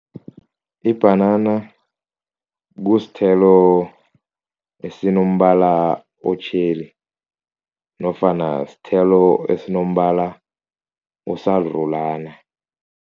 Ibhanana kusithelo esinombala otjheli nofana sithelo esinombala osarulana.